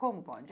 Como pode?